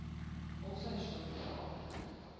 also shortly after